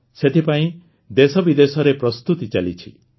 ସେଥିପାଇଁ ଦେଶବିଦେଶରେ ପ୍ରସ୍ତୁତି ଚାଲିଛି